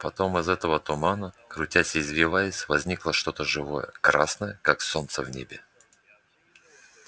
потом из этого тумана крутясь и извиваясь возникло что-то живое красное как солнце в небе